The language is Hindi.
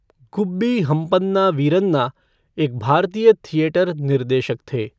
गुब्बी हम्पन्ना वीरन्ना एक भारतीय थिएटर निर्देशक थे।